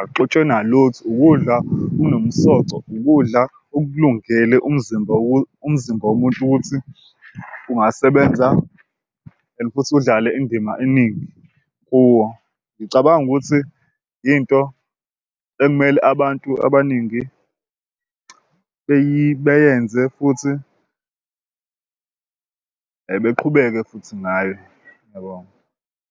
akuxutshwe nalutho ukudla okunomsoco ukudla okulungele umzimba umzimba womuntu ukuthi ungasebenza and futhi udlale indima eningi kuwo. Ngicabanga ukuthi into ekumele abantu abaningi beyenze futhi beqhubeke futhi naye. Ngiyabonga.